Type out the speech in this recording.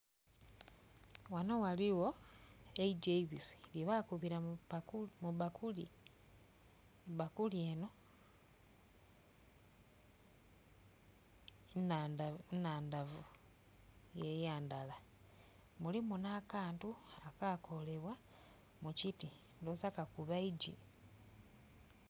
Ghano ghaligho eigi eibisi lye bakubira mu bakuli bakuli eno nnhandavu yeyandala mulimu na kantu akakolebwa mu kiti ndhoghoza kakuba iiggi.